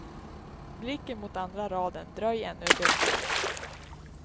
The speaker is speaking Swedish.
Blicken mot andra raden, dröj ännu ett ögonblick.